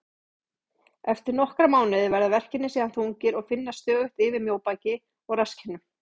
Eftir nokkra mánuði verða verkirnir síðan þungir og finnast stöðugt yfir mjóbaki og rasskinnum.